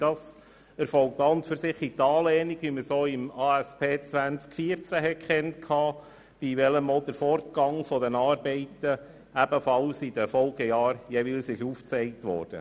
Dies erfolgt in Anlehnung an die Aufgaben- und Strukturüberprüfung (ASP) 2014, wo der Fortgang der Arbeiten in den Folgejahren ebenfalls dokumentiert wurde.